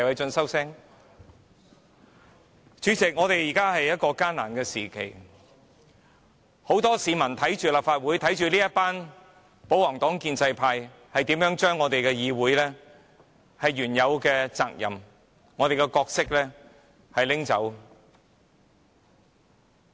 主席，這是艱難的時刻，很多市民正在看着立法會，看着保皇黨或建制派議員如何把議會原有的責任和角色拿走。